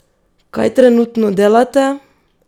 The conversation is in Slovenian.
Kaj trenutno delate?